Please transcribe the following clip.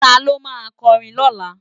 Táló má kòrin lólá?